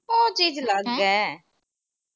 ਓਹ ਚੀਜ ਅਲੱਗ ਐ।